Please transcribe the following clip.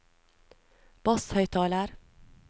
basshøyttaler